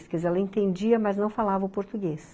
Quer dizer, ela entendia, mas não falava o português.